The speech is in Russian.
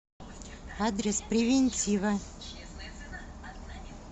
адрес превентива